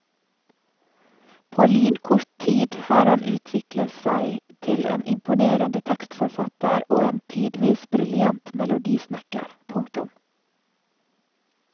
På lynkort tid har han utviklet seg til en imponerende tekstforfatter og en tidvis briljant melodisnekker. punktum